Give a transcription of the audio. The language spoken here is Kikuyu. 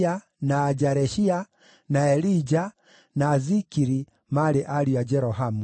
na Jaareshia, na Elija, na Zikiri maarĩ ariũ a Jerohamu.